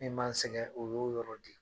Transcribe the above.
Min m'an sɛgɛn o y'o yɔrɔ de.